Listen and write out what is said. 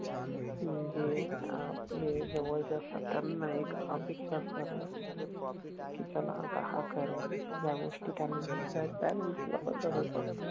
जे आपले जवळचे असतात त्यांना एक अपेक्षा असते आपल्या कडून कि चला आता हा करेल ह्या गोष्टी त्यांना पण तसंच असत